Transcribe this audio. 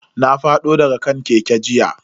Na fado daga kan keke jiya.